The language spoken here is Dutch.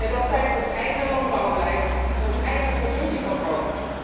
Dat zijn ons eigen landbouwbeleid en ons eigen consumptiepatroon.